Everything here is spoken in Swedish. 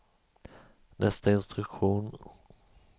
nästa instruktion